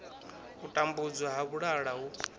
u tambudzwa ha vhalala hu